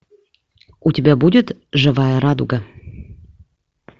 у тебя будет живая радуга